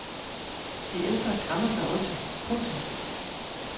De ældre græmmer sig også. punktum